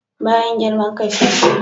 Bayan girman kai sai kunya.